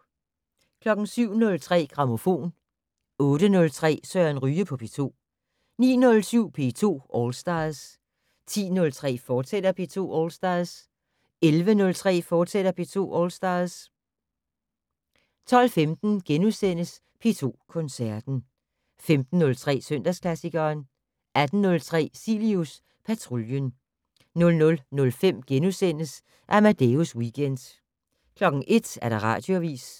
07:03: Grammofon 08:03: Søren Ryge på P2 09:07: P2 All Stars 10:03: P2 All Stars, fortsat 11:03: P2 All Stars, fortsat 12:15: P2 Koncerten * 15:03: Søndagsklassikeren 18:03: Cilius Patruljen 00:05: Amadeus Weekend * 01:00: Radioavis